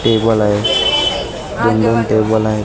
Table आहे दोन दोन टेबल आहे.